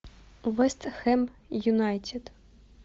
вест хэм юнайтед